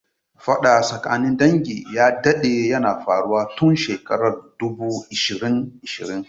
Faɗa tsakanin dangin ya dadde yana faruwa tun shekarar dubu ishirin ishirin.